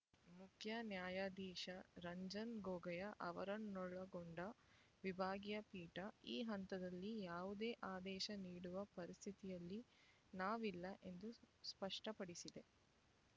ಮುಖ್ಯ ನ್ಯಾಯಾಧೀಶ ರಂಜನ್ ಗೊಗೊಯ್ ಅವರನ್ನೊಳಗೊಂಡ ವಿಭಾಗೀಯ ಪೀಠ ಈ ಹಂತದಲ್ಲಿ ಯಾವುದೇ ಆದೇಶ ನೀಡುವ ಪರಿಸ್ಥಿತಿಯಲ್ಲಿ ನಾವಿಲ್ಲ ಎಂದು ಸ್ಪಷ್ಟಪಡಿಸಿದೆ